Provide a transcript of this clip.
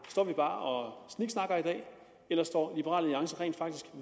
står vi bare og sniksnakker i dag eller står liberal alliance rent faktisk